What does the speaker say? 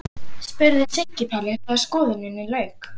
spurði Siggi Palli þegar skoðuninni lauk.